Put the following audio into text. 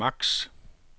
maks